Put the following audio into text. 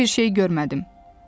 Mən heç bir şey görmədim.